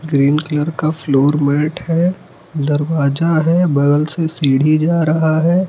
Green colour का floor mat है दरवाजा है बगल से सीढ़ी जा रहा है।